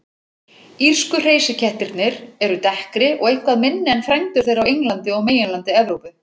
Írsku hreysikettirnir eru dekkri og eitthvað minni en frændur þeirra á Englandi og meginlandi Evrópu.